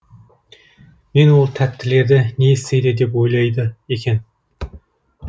мен ол тәттілерді не істейді деп ойлайды екен